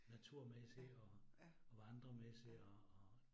Naturmæssigt og og vandremæssigt og og